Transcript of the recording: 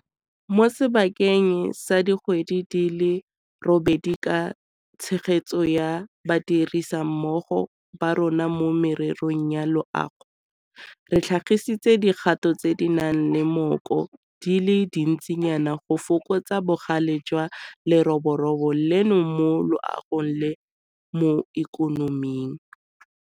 Mo sebakeng sa dikgwedi di le robedi ka tshegetso ya badirisanimmogo ba rona mo mererong ya loago, re tlhagisitse dikgato tse di nang le mmoko di le dintsinyana go fokotsa bogale jwa leroborobo leno mo loagong le mo ikonoming.